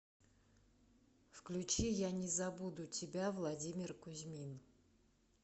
включи я не забуду тебя владимир кузьмин